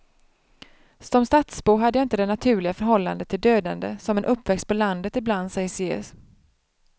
Som stadsbo hade jag inte det naturliga förhållande till dödande som en uppväxt på landet ibland sägs ge.